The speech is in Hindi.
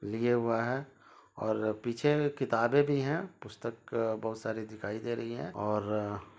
और लिए हुआ है और पीछे किताबें भी है पुस्तक अ बहुत सारी दिखाई दे रहीं है और--